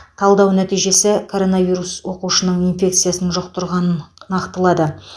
талдау нәтижесі коронавирус оқушының инфекциясын жұқтырғанын нақтылады